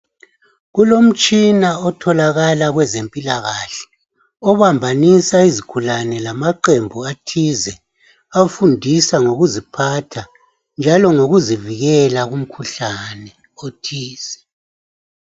Kulomtshina othalakala kwezempilakahle ,obambanisa izigulane lamaqembu athize. Afundisa ngokuziphatha njalo ngokuzivikela kumkhuhlane othize.